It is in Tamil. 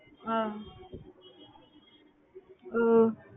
ஒஹ் ஒஹ்